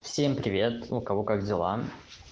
всем привет у кого как дела